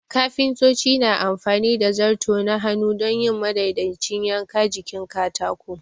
Kafintoci na amfani da zarto na hannu don yin madaidaicin yanka jikin katako.